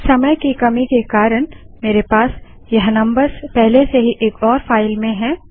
समय की कमी के कारण मेरे पास यह नम्बर्स पहले से ही एक और फाइल में हैं